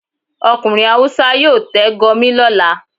Okunrin hawúsa yọọ tẹ́ Gurmi lolà